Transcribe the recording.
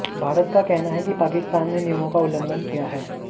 भारत का कहना है कि पाकिस्तान ने नियमों का उल्लंघन किया है